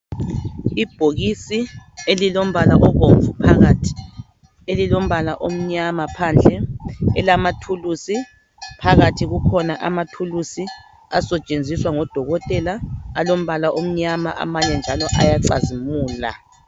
Ibhokisi elilombala obomvu phakathi elilombala omnyama phandle elilama thulisi phakathi kukhona amathulusi asetshenziswa ngodokotela alombala omnyama amanye njalo ayacazimula